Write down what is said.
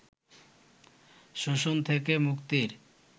শোষণ থেকে মুক্তির